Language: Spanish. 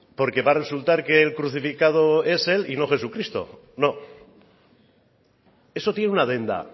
porque va a resultar que el crucificado es él y no jesucristo no eso tiene una adenda